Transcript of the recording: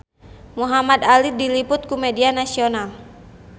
Muhamad Ali diliput ku media nasional